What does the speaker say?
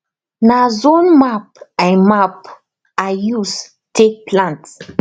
na zone map i map i use take plant